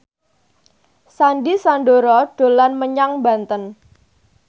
Sandy Sandoro dolan menyang Banten